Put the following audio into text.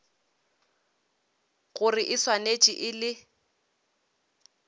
gore e swanetše e le